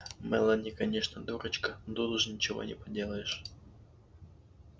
мелани конечно дурочка но тут уж ничего не поделаешь